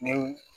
Ne y'u